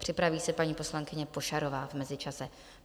Připraví se paní poslankyně Pošarová v mezičase.